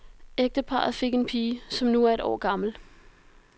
Ægteparret fik en pige, som nu er et år gammelt.